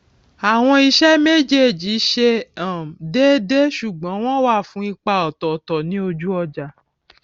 àwọn iṣé méjèèjì ṣe um déédé ṣùgbón wón wà fún ipa òtòòtò ní ojú ọjà